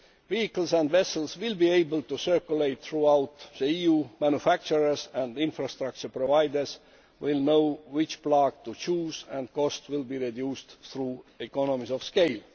Vehicles and vessels will be able to circulate throughout the EU manufacturers and infrastructure providers will know which plug to choose, and costs will be reduced through economies of scale.